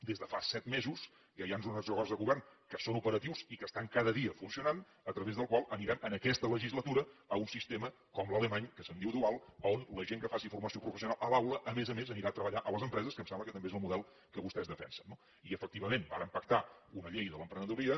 des de fa set mesos ja hi han uns acords de govern que són operatius i que estan cada dia funcionant a través dels quals anirem en aquesta legislatura a un sistema com l’alemany que se’n diu dual on la gent que faci formació professional a l’aula a més a més anirà a treballar a les empreses que em sembla que també és el model que vostès defensen no i efectivament vàrem pactar una llei de l’emprenedoria